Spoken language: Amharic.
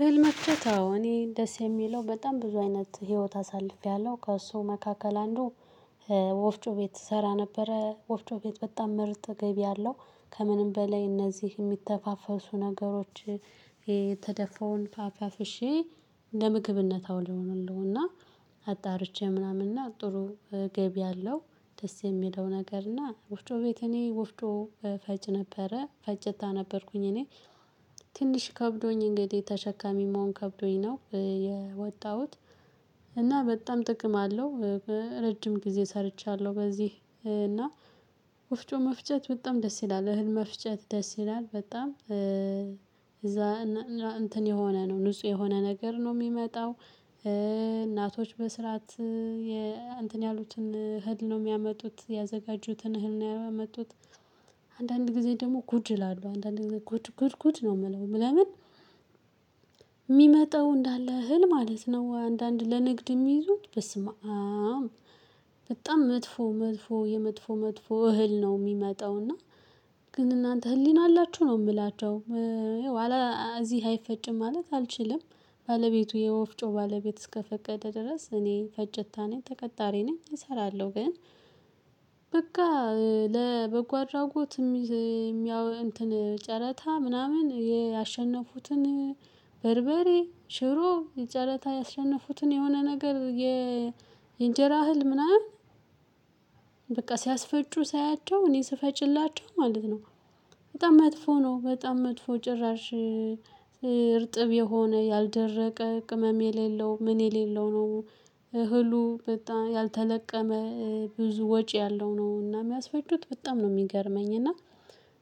እህል መፍጨት አዎ እኔ ደስ የሚለው በጣም ብዙ አይነት ህይወት አሳልፌያለሁ ከእሱ መካከል አንዱ። ወፍጮ ቤት እሰራ ነበረ ወፍጮ ቤት በጣም ምርጥ ገቢ አለው። ከምንም በላይ እነዚህ የሚተፋፈሱ ነገሮች። የተደፋውን አፋፍሼ ለምግብነት አውለዋለሁ እና አጣርቼ ምናምን እና ጥሩ ገቢ አለው። ደስ የሚለው ነገር እና ወፍጮ ቤት እኔ ወፍጮ ፈጪ ነበረ ፈጪታ ነበርኩኝ እኔ። ትንሽ ከብዶኝ እንግዲህ ተሸካሚ መሆን ከብዶኝ ነው የወጣሁት። እና በጣም ጥቅም አለው። ረጅም ጊዜ ሰርቻለሁ በዚህ እና ወፍጮ መፍጨት በጣም ደስ ይላል እህል መፍጨት ደስ ይላል በጣም እዛ እና እንትን የሆነ ነው ንጹህ የሆነ ነገር ነው ሚመጣው። እናቶች በስርዓት እንተን ያሉትን እህል ነው የሚያመጡት ያዘጋጁትን እህል ነው የሚያመጡት። አንዳንድ ጊዜ ደግሞ ጉድ እላለሁ አንዳንድ ግዜ ጉድ ጉድ ጉድ ነው የምለው ለምን? እንዳለ እህል ማለት ነው አንዳንድ ለንግድ የሚይዙት በስመአም። በጣም መጥፎ መጥፎ የመጥፎ መጥፎ እህል ነው የሚመጣው እና። ግን እናንተ ህሊና አላችሁ ነው የምላቸው። እዚህ አይፈጭም ማለት አልችልም ባለቤቱ የወፍጮ ባለቤት እስከፈቀደ ድረስ እኔ ፈጪታ ነኝ ተቀጣሪ ነኝ እሰራለሁ ግን። በቃ ለበጎ አድራጎት የሚይ የሚያው እንትን ጨረታ ምናምን ያሸነፉትን በርበሬ ሽሮ የጨረታ ያሸነፉትን የሆነ ነገር የ የእንጀራ እህል ምናምን። በቃ ሲያስፈጩ ሳያቸው እኔ ስፈጭላቸው ማለት ነው። በጣም መጥፎ ነው በጣም መጥፎ ጭራሽ። እርጥብ የሆነ ያልደረቀ ቅመም የሌለው ምን የሌለው ነው። እህሉ በጣም ያልተለቀመ ብዙ ወጪ ያለው ነው እና የሚያስፈጩት በጣም ነው የሚገርመኝ እና።